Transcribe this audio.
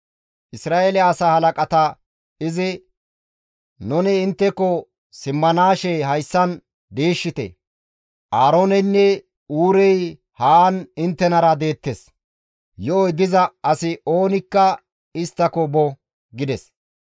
Isra7eele asaa halaqata izi, «Nuni intteko simmanaashe gakkanaas hayssan diishshite; Aarooneynne Huurey haan inttenara deettes; yo7oy diza asi oonikka isttako bo» gides.